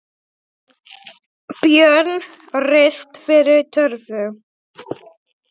Björn rist fyrir torfu.